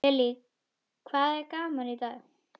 Lillý: Hvað er gaman í dag?